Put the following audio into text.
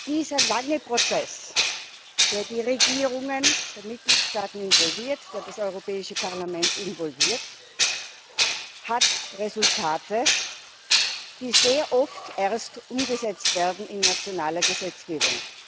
Dieser lange Prozess, der die Regierungen der Mitgliedstaaten involviert, der das Europäische Parlament involviert, hat Resultate, die sehr oft erst umgesetzt werden in nationale Gesetzgebung.